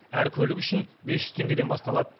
әр көлік үшін бес жүз теңгеден басталады